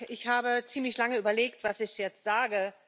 Ich habe ziemlich lange überlegt, was ich jetzt sage.